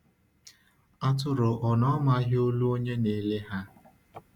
Atụrụ ò na-amaghị olu onye na-ele ha?